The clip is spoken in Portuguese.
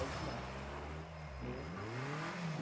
AIDS mata né e.